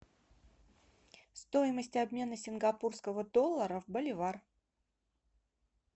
стоимость обмена сингапурского доллара в боливар